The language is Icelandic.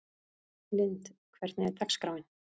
Lynd, hvernig er dagskráin?